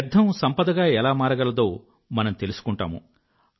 వ్యర్థం సంపదగా ఎలా మారగలదో మనం తెలుసుకుంటాము